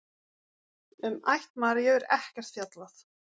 Um ætt Maríu er ekkert fjallað.